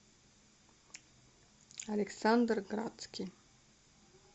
александр градский